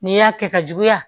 N'i y'a kɛ ka juguya